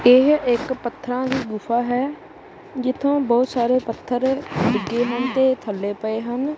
ਏਹ ਇੱਕ ਪੱਥਰਾਂ ਦੀ ਗੁਫ਼ਾ ਹੈ ਜਿੱਥੇ ਬੋਹੁਤ ਸਾਰੇ ਪੱਥਰ ਡਿੱਗੇ ਹਨ ਤੇ ਥੱਲੇ ਪਏ ਹਨ।